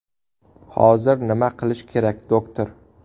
Hozir nima qilish kerak doktor?